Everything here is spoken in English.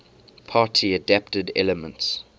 party adapted elements